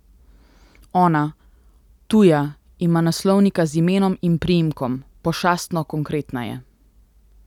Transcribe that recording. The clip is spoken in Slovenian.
Ona, tuja, ima naslovnika z imenom in priimkom, pošastno konkretna je.